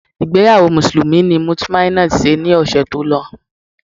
Ìgbéyàwó Mùsùlùmí ni Mutmainot ṣe ní ọ̀ṣẹ̀ tó lọ